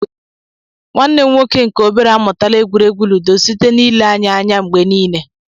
Nwanne m nwoke nke obere amụtala egwuregwu ludo site na ile anyị anya mgbe niile